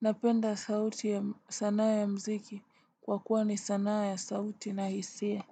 Napenda sauti ya sanaa ya mziki, kwa kuwa ni sanaa ya sauti na hisia.